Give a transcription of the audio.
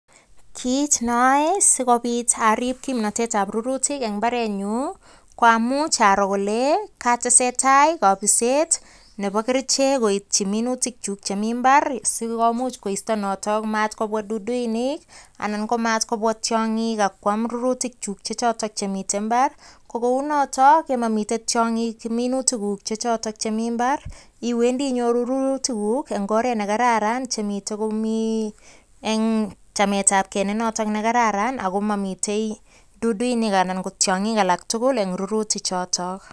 Kiit noeyai sikopit ariip kimnotetab rurutik eng imbaarenyun, ko amuch aroo ale katesetai kapisisiet nebo kerichek koityi minutik chu chemi imbaar sikomuch koisto noto matkobwa duduinik anan mstkobwa tiongik ak kwaam rurutikchu chechoto chemitei imbaar, ko kounoto ye mamitei tiongik eng minutikuk chechoto chemitei imbaar, iwendi inyoru rurutikuk eng oret ne kararan chemitei komi eng chametab ge nenoto ko kararan ako mamitei duduinik anan ko tiongik alak tugul eng rurutik chotok.